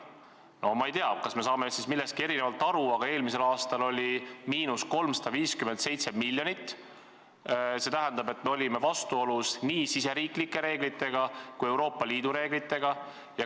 No ma ei tea, kas me saame siis millestki erinevalt aru, aga eelmisel aastal oli –357 miljonit, see tähendab, et me olime vastuolus nii riigisiseste reeglitega kui Euroopa Liidu reeglitega.